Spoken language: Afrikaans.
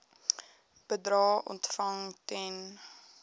bedrae ontvang ten